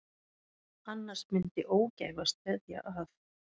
Annars myndi ógæfa steðja að.